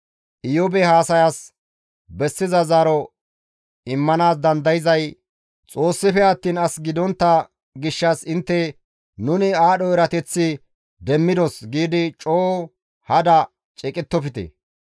Iyoobe haasayas bessiza zaaro immanaas dandayzay Xoossafe attiin as gidontta gishshas intte, ‹Nuni aadho erateth demmidos› giidi coo hada ceeqettofte.